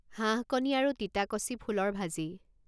হাঁহকণী আৰু তিতাকচি ফুলৰ ভাজি